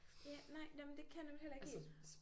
Ja nej nåh men det kan jeg nemlig heller ikke helt